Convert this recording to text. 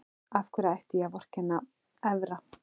Af hverju ætti ég að vorkenna Evra?